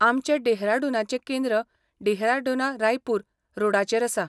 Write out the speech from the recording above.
आमचें डेहराडूनाचें केंद्र डेहराडूना रायपूर रोडाचेर आसा.